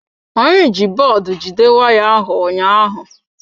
Anyị ji bọọdụ jide waya ahụ ụnyaahụ.